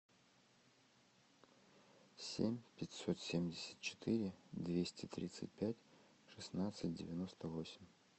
семь пятьсот семьдесят четыре двести тридцать пять шестнадцать девяносто восемь